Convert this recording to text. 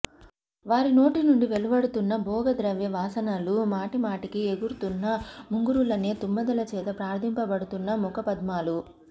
వారినోటినుండి వెలువడుతూన్న భోగ ద్రవ్య వాసనలూ మాటి మాటికి ఎగురుతూన్న ముంగురులనే తుమ్మెదలచేత ప్రార్థింపబడుతూన్న ముఖ పద్మాలు